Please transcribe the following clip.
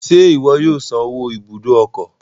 Ṣe iwọ yóò san owó ibùdó ọkọ?